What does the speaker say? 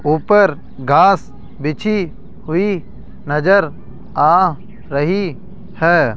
ऊपर घास बिछी हुई नजर आ रही है।